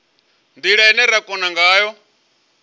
ndila ine ra kona ngayo